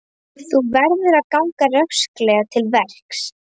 Þú verður að ganga rösklega til verks.